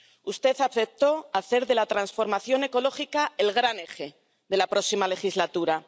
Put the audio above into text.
Usted aceptó hacer de la transformación ecológica el gran eje de la próxima legislatura.